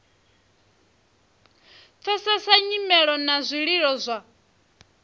pfesesa nyimelo na zwililo zwa